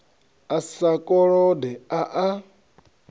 a sa kolode a a